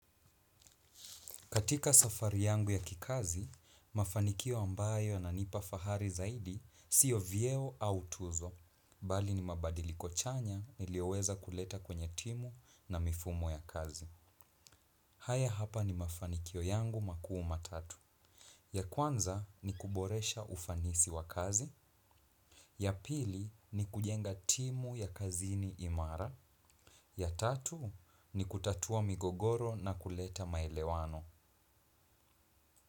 Katika safari yangu ya kikazi, mafanikio ambayo yananipa fahari zaidi siyo vyeo au tuzo. Bali ni mabadiliko chanya niliyoweza kuleta kwenye timu na mifumo ya kazi. Haya hapa ni mafanikio yangu makuu matatu. Ya kwanza ni kuboresha ufanisi wa kazi. Ya pili ni kujenga timu ya kazini imara. Ya tatu ni kutatua migogoro na kuleta maelewano.